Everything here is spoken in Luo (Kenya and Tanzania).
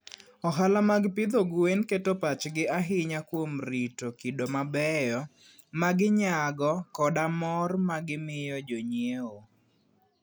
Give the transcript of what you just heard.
Ohala mag pidho gwen keto pachgi ahinya kuom rito kido mabeyo ma ginyago koda mor ma gimiyo jonyiewo.